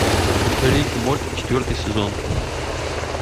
рик и морти четвертый сезон